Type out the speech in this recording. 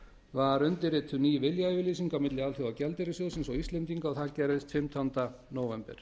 var undirrituð ný viljayfirlýsing á milli alþjóðagjaldeyrissjóðsins og íslendinga og það gerðist fimmtánda nóvember